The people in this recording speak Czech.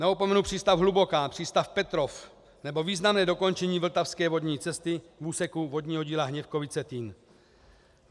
Neopomenu přístav Hluboká, přístav Petrov nebo významné dokončení vltavské vodní cesty v úseku vodního díla Hněvkovice-Týn.